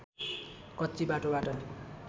कच्ची बाटोबाट